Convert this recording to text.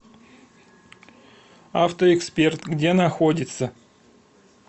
авто эксперт где находится